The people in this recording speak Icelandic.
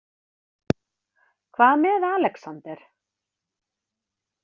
Hvað með Alexander?